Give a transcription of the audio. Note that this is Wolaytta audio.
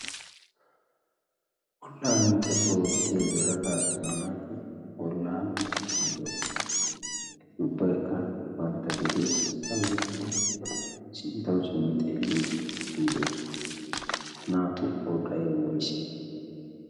bollaa minttettuwa oottiya yelaga attuma naati bollaa minttettiidoosona. etti ubbaikka bantta gediya sintta beettidi sintttawu simmi xeelliiddidoosona. naatu pordai woisse?